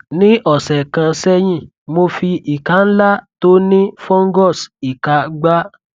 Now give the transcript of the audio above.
nih ọsẹ kan sẹyìn mo fi ìka ńlá tó nih fungus ìka gbá